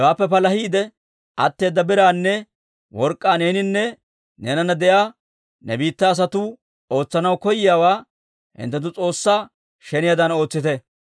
«Hewaappe palahiide atteeda biraanne work'k'aa neeninne neenana de'iyaa ne biittaa asatuu ootsanaw koyiyaawaa hinttenttu S'oossaa sheniyaadan ootsite.